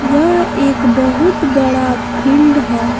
यह एक बहुत बड़ा फील्ड है।